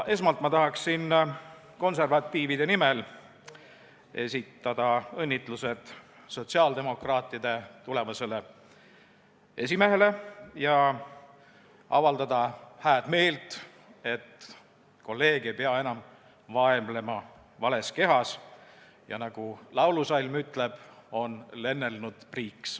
Esmalt tahaksin konservatiivide nimel esitada õnnitlused sotsiaaldemokraatide tulevasele esimehele ja avaldada hääd meelt, et kolleeg ei pea enam vaevlema vales kehas ja on, nagu laulusalm ütleb, lennelnud priiks.